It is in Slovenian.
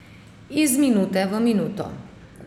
Iz minute v minuto ...